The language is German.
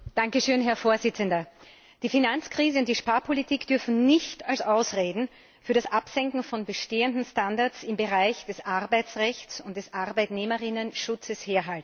Herr Präsident! Die Finanzkrise und die Sparpolitik dürfen nicht als Ausreden für das Absenken von bestehenden Standards im Bereich des Arbeitsrechts und des Arbeitnehmerschutzes herhalten.